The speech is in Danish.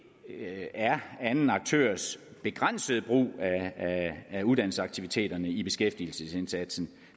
er anden aktørs begrænsede brug af uddannelsesaktiviteterne i beskæftigelsesindsatsen